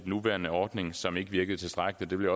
nuværende ordning som ikke virkede tilstrækkelig det vil